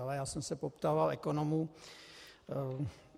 Ale já jsem se poptával ekonomů.